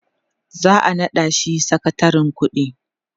za'a naɗa shi sakatarin ƙuɗi